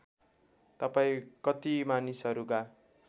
तपाईँ कति मानिसहरूका